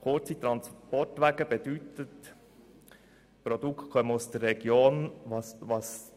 Kurze Transportwege bedeuten, dass die Produkte aus der Region kommen.